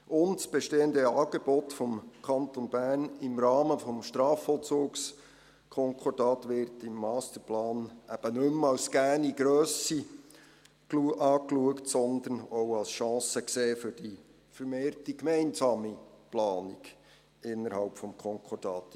Ausserdem wird das bestehende Angebot des Kantons Bern im Rahmen des Strafvollzugskonkordats im Masterplan eben nicht mehr als gegebene Grösse betrachtet, sondern auch als Chance für die vermehrte gemeinsame Planung innerhalb des Konkordats gesehen.